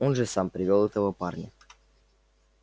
он же сам привёл этого парня